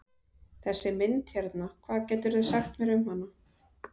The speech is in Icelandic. Þessi mynd hérna, hvað geturðu sagt mér um hana?